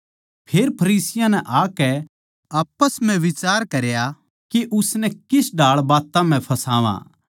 फेर फरिसियाँ नै आकै आप्पस म्ह बिचार करया के उसनै किस ढाळ बात्तां म्ह फसावा